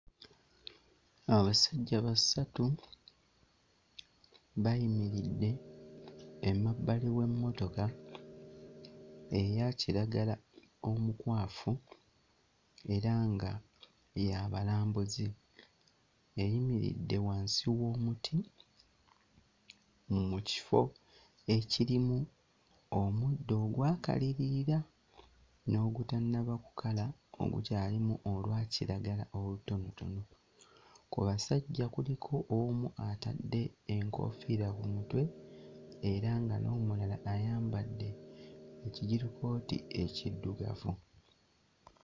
Amusajja basatu bayimiridde emabbali w'emmotoka eya kiragala omukwafu era nga ya balambuzi eyimiridde wansi w'omuti mu kifo ekirimu omuddo ogwakalirira n'ogutannaba kukala ogukyalimu olwakiragala olutonotono. Ku basajja kuliko omu atadde enkoofiira ku mutwe era nga n'omulala ayambadde ekijirikooti ekiddugavu.